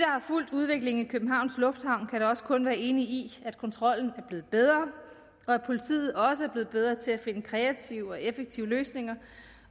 har fulgt udviklingen i københavns lufthavn kan da også kun være enige i at kontrollen er blevet bedre og at politiet også er blevet bedre til at finde kreative og effektive løsninger